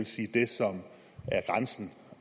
sige det som er grænsen